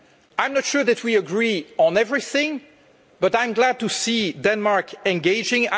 I'm not sure that we agree on everything, but I'm glad to see Denmark engaging.